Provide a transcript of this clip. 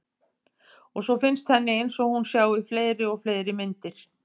Og svo finnst henni einsog hún sjái fleiri og fleiri myndir.